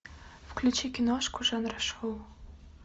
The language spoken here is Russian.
включи киношку жанра шоу